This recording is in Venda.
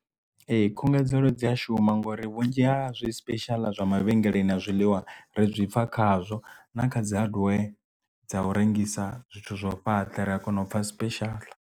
Ee khungedzelo dzi a shuma ngori vhunzhi ha zwi special zwa mavhengeleni na zwiḽiwa ri zwipfa khazwo na kha dzi hadiwee dza u rengisa zwithu zwo fhaṱa ri a kona u pfha special.